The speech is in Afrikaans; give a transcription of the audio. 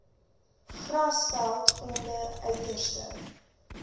grasveld onder uiterste